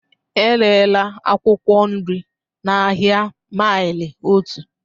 Erela akwụkwọ nri n'ahịa maili otu.